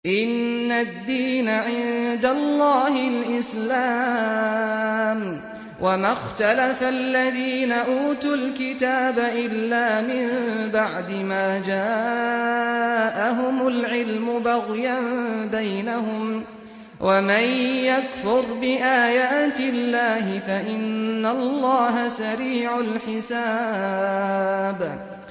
إِنَّ الدِّينَ عِندَ اللَّهِ الْإِسْلَامُ ۗ وَمَا اخْتَلَفَ الَّذِينَ أُوتُوا الْكِتَابَ إِلَّا مِن بَعْدِ مَا جَاءَهُمُ الْعِلْمُ بَغْيًا بَيْنَهُمْ ۗ وَمَن يَكْفُرْ بِآيَاتِ اللَّهِ فَإِنَّ اللَّهَ سَرِيعُ الْحِسَابِ